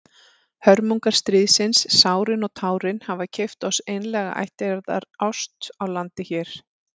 Hörmungar stríðsins, sárin og tárin, hafa keypt oss einlæga ættjarðarást í landi hér.